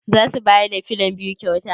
Zasu bayar da filon biyu kyauta?